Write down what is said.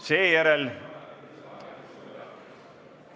Seejärel ...